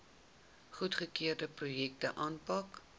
goedgekeurde projekte aanpak